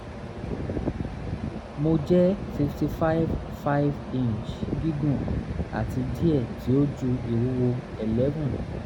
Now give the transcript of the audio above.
mo jẹ 55 5' gígùn ati diẹ ti o ju iwuwo 11th